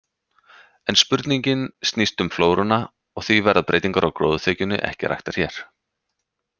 En spurningin snýst um flóruna, og því verða breytingar á gróðurþekjunni ekki raktar hér.